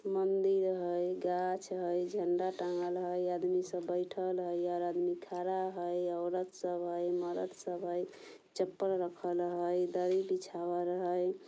मंदिर हई गाछ हई झंडा टँगल हई आदमी सब बइठल हई और आदमी खड़ा हई औरत सब हई मरद सब हई चप्पल रखल हई दरी बिछावल हई ।